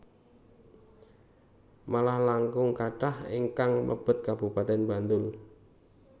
Malah langkung kathah ingkang mlebet Kabupaten Bantul